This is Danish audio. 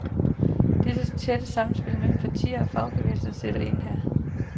Det tætte samspil mellem parti og fagbevægelse spiller ind her.